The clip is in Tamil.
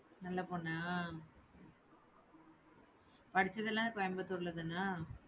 நல்ல பொண்ணா, படிச்சதெல்லாம் கோயம்புத்தூர் தானா?